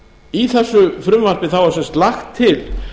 í þessu frumvarpi þá er sem sagt lagt til